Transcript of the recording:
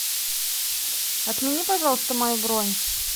отмени пожалуйста мою бронь